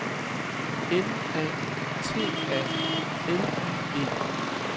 N A T A L I E